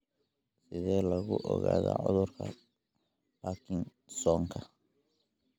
Sidee lagu ogaadaa cudurka Parkinsonka?